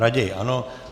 Raději ano.